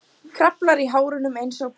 Kraflar í hárunum einsog barn.